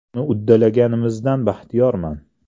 Uni uddalaganimizdan baxtiyorman.